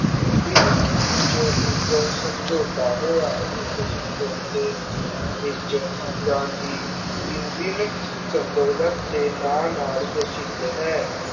ਇੰਨ ਜਿੰਨ ਵਿਚ ਇਕ ਸਮਜੋਤਾ ਹੋਇਆ ਇਸ ਸਮਜੋਤੇ ਵਿਚ ਗਾਂਧੀ ਇੰਨ ਬਿੰਨ ਸਮਬੋਲਤ ਦੇ ਨਾ ਨਾਲ ਪ੍ਰਸ਼ਿਦ ਹੈ।